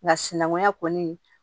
Nka sinankunya kɔni